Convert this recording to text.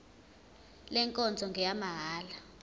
le nkonzo ngeyamahala